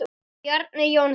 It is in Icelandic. Bjarni Jónsson